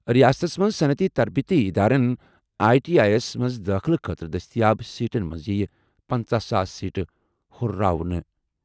رِیاستَس منٛز صنعتی تربیتی اِدارَن آٮٔی ٹی آٮٔی یَس منٛز دٲخلہٕ خٲطرٕ دٔستیاب سیٹَن منٛز یِیہِ پنژہَ ساس سیٹہٕ ہُرراونہٕ۔